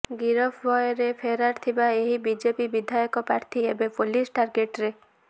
ଗିରଫ ଭୟରେ ଫେରାର ଥିବା ଏହି ବିଜେପି ବିଧାୟକ ପ୍ରାର୍ଥୀ ଏବେ ପୋଲିସ ଟାର୍ଗେଟରେ